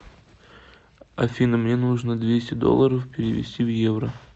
афина мне нужно двести долларов перевести в евро